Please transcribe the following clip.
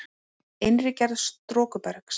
Innri gerð storkubergs